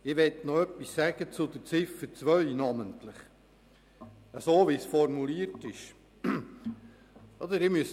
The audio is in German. Ich möchte noch etwas zur Formulierung von Ziffer 2 sagen.